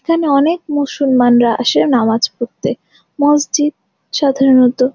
এখানে অনেক মুসলমানরা আসে নামাজ পড়তে মসজিদ সাধারনত--